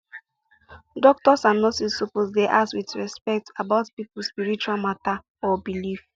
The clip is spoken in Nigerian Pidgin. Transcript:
doctors and nurses suppose dey ask with respect about people spiritual matter or belief